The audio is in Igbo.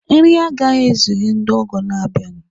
Nri a agaghị ezuru ndị ọgọ na-abịa